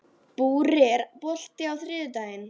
Búri, er bolti á þriðjudaginn?